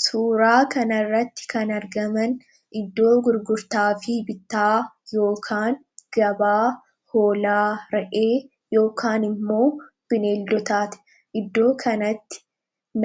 suuraa kanarratti kan argaman iddoo gurgurtaa fi bitaa yookaan gabaa hoolaa ra'ee ykaan immoo bineeldotaate iddoo kanatti